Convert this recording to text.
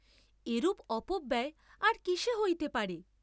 এরূপ অপব্যয় আর কিসে হইতে পারে?